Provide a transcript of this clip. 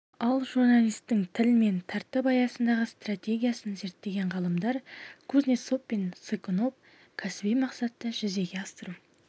ал журналистің тіл мен тәртіп аясындағы стратегиясын зерттеген ғалымдар кузнецов пен цыкунов кәсіби мақсатты жүзеге асыру